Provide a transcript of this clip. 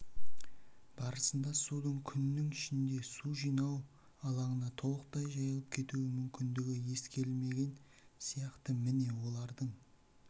барысында судың күннің ішінде су жинау алаңына толықтай жайылып кету мүмкіндігі ескерілмеген сияқты міне олардың